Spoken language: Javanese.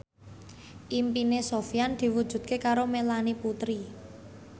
impine Sofyan diwujudke karo Melanie Putri